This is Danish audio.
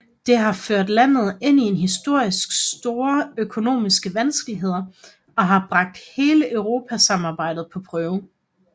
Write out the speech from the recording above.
Det har ført landet ind i historisk store økonomiske vanskeligheder og har bragt hele eurosamarbejdet på prøve